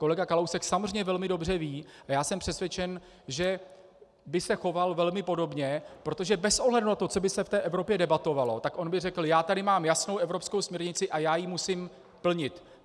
Kolega Kalousek samozřejmě velmi dobře ví - a já jsem přesvědčen, že by se choval velmi podobně, protože bez ohledu na to, co by se v té Evropě debatovalo, tak on by řekl: Já tady mám jasnou evropskou směrnici a já ji musím plnit.